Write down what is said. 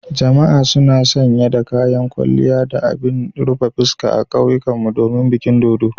Jama'a suna sanye da kayan kwalliya da abin rufe fuska a kauyenmu domin bikin dodo.